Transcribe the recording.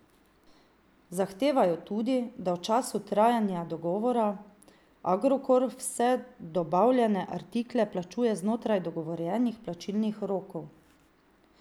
Zahtevajo tudi, da v času trajanja dogovora, Agrokor vse dobavljene artikle plačuje znotraj dogovorjenih plačilnih rokov.